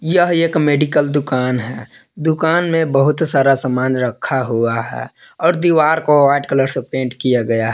यह एक मेडिकल दुकान है दुकान में बहुत सारा सामान रखा हुआ है और दीवार को व्हाइट कलर से पेंट किया गया--